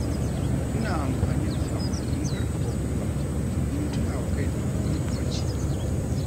Ina amfani da saƙonnin karfafa gwiwa domin tuna wa kaina muhimmancina.